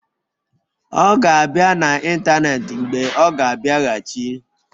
Ọ ga-abịa n'ịntanetị mgbe ọ ga-abịaghachi.